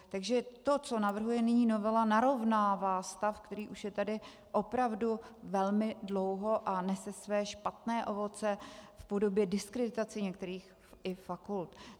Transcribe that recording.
Takže to, co navrhuje nyní novela, narovnává stav, který už je tady opravdu velmi dlouho a nese své špatné ovoce i v podobě diskreditace některých fakult.